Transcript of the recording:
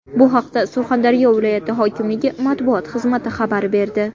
Bu haqda Surxondaryo viloyati hokimligi matbuot xizmati xabar berdi.